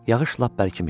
Yağış lap bərkimişdi.